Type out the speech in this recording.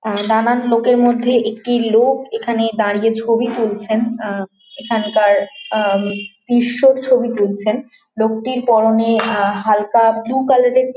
আ নানান লোকের মধ্যে একটি লোক এখানে দাঁড়িয়ে ছবি তুলছেন অ্যাঁ এখানকার অ্যাঁ দৃশ্যর ছবি তুলছেন লোকটির পরনে অ্যাঁ হালকা ব্লু কালার -এর--